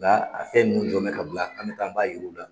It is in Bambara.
Nga a fɛn nunnu jɔn bɛ ka bila an be taa b'a yira u la.